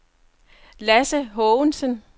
Lasse Haagensen